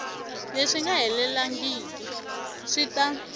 leswi nga helelangiku swi ta